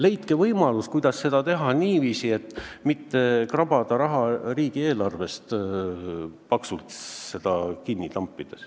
Leidke võimalus, kuidas seda teha niiviisi, et mitte krabada raha riigieelarvest, seda paksult kinni tampida.